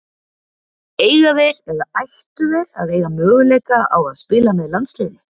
Eiga þeir eða ættu þeir að eiga möguleika á að spila með landsliði?